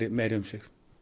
meiri umsvif